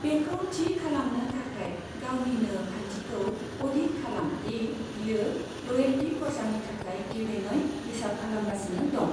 बेखौ थि खालामनो थाखाय गावनिनो खान्थिखौ अ'डिट खालाम दि बेयो र'येल्टी खर्सानि थाखाय गेबेङै हिसाब खालामगासिनो दं।